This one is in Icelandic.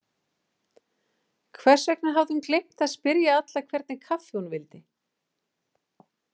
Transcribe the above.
Hvers vegna hafði hún gleymt að spyrja alla hvernig kaffi hún vildi?